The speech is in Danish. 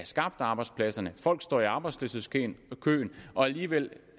skabt arbejdspladser folk står i arbejdsløshedskøen og alligevel